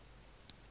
hang ha ho se ho